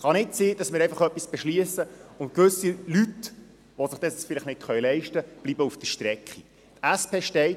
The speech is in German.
Es kann nicht sein, dass wir etwas beschliessen und daraufhin gewisse Leute, die es sich nicht leisten können, auf der Strecke bleiben.